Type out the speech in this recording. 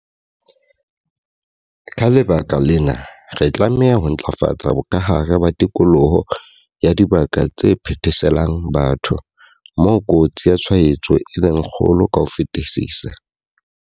Ka lebaka lena, re tlameha ho ntlafatsa bokahare ba tikoloho ya dibaka tse phetheselang batho, moo kotsi ya tshwaetso e leng kgolo ka ho fetisisa.